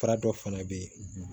Fura dɔ fana bɛ ye